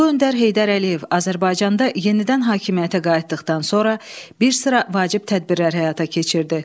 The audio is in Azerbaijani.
Ulu öndər Heydər Əliyev Azərbaycanda yenidən hakimiyyətə qayıtdıqdan sonra bir sıra vacib tədbirlər həyata keçirdi.